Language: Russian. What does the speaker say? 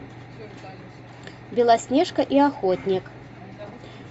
белоснежка и охотник